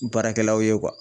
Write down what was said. Baarakɛlaw ye